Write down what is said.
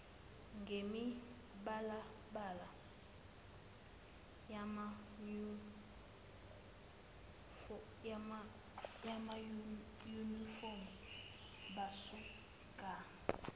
ngemibalabala yamanyufomu basuka